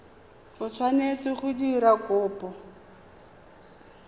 o tshwanetseng go dira kopo